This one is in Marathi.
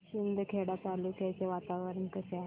शिंदखेडा तालुक्याचे वातावरण कसे आहे